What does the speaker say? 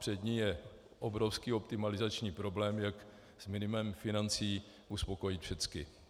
Před ní je obrovský optimalizační problém, jak s minimem financí uspokojit všechny.